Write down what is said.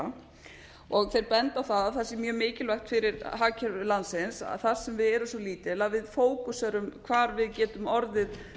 að gera þeir benda á það það sé mjög mikilvægt fyrir hagkerfi landsins þar sem við erum svo lítil að við fókuseruðum á hvar við getum orðið